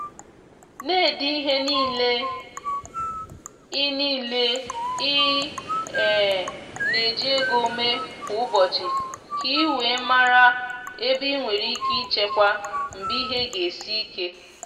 na-ede ihe niile i niile i um na-eji ego mee kwa ụbọchị ka i wee mara ebe i nwere ike ichekwa mgbe ihe ga esi ike.